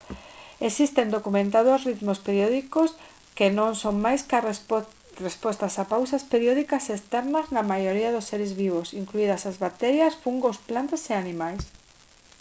existen documentados ritmos periódicos que non son máis ca respostas a pautas periódicas externas na maioría dos seres vivos incluídas as bacterias fungos plantas e animais